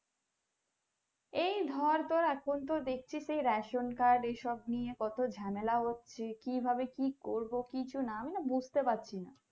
এই ধর তোর এখন তো দেখছি যে ration card এইসব নিয়ে কত ঝামেলা হচ্ছে কি ভাবে কি করবো কিছুনা আমি বুঝতে পারছি না